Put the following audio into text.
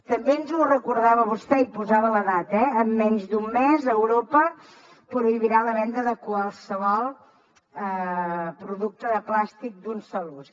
també ens ho recordava vostè i hi posava la data eh en menys d’un mes europa prohibirà la venda de qualsevol producte de plàstic d’un sol ús